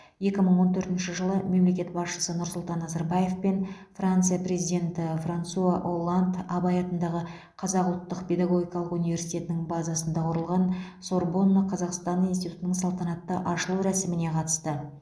екі мың он төртінші жылы мемлекет басшысы нұрсұлтан назарбаев пен франция президенті франсуа олланд абай атындағы қазақ ұлттық педагогикалық университетінің базасында құрылған сорбонна қазақстан институтының салтанатты ашылу рәсіміне қатысты